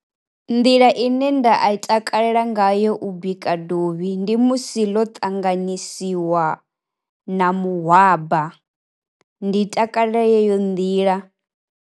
Nḓila ine nda i takalela ngayo u bika dovhi ndi musi ḽo ṱanganyisiwa na mahwaba, ndi takalela yeyo nḓila.